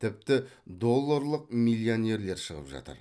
тіпті долларлық миллионерлер шығып жатыр